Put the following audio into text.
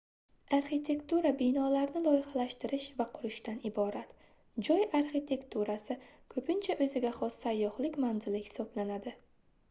arxitektura binolarni loyihalashtirish va qurishdan iborat joy arxitekturasi koʻpincha oʻziga xos sayyohlik manzili hisoblanadi